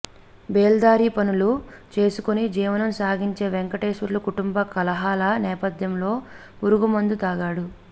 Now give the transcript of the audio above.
బేల్దారి పనులు చేసుకుని జీవనం సాగించే వెంకటేశ్వర్లు కుటుంబ కలహాల నేపథ్యంలో పురుగుమందు తాగాడు